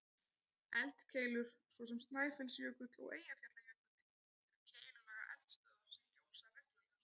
Eldkeilur, svo sem Snæfellsjökull og Eyjafjallajökull, eru keilulaga eldstöðvar sem gjósa reglulega.